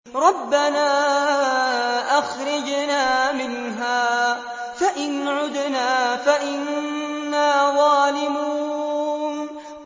رَبَّنَا أَخْرِجْنَا مِنْهَا فَإِنْ عُدْنَا فَإِنَّا ظَالِمُونَ